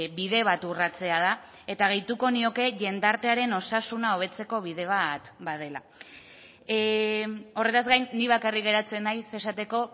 bide bat urratzea da eta gehituko nioke jendartearen osasuna hobetzeko bide bat badela horretaz gain nik bakarrik geratzen naiz esateko